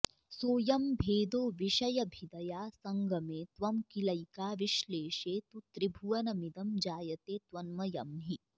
सोऽयं भेदो विषयभिदया सङ्गमे त्वं किलैका विश्लेषे तु त्रिभुवनमिदं जायते त्वन्मयं हि